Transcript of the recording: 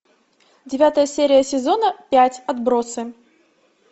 девятая серия сезона пять отбросы